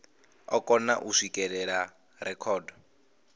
o kona u swikelela rekhodo